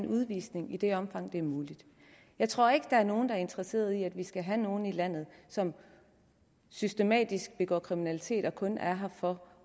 udvisning i det omfang det er muligt jeg tror ikke der er nogen der er interesseret i at vi skal have nogen i landet som systematisk begår kriminalitet og kun er her for